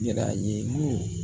Yira ye mun